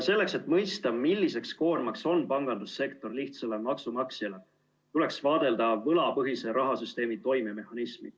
Selleks, et mõista, milliseks koormaks on pangandussektor lihtsale maksumaksjale, tuleks vaadelda võlapõhise rahasüsteemi toimemehhanismi.